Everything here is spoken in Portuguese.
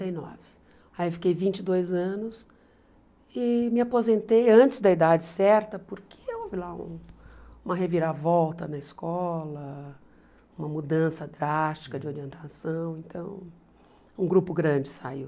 e nove. Aí eu fiquei vinte e dois anos e me aposentei antes da idade certa, porque houve lá uma reviravolta na escola, uma mudança drástica de orientação, então um grupo grande saiu.